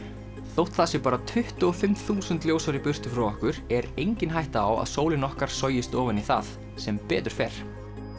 þótt það sé bara tuttugu og fimm þúsund ljósár í burtu frá okkur er engin hætta á að sólin okkar sogist ofan í það sem betur fer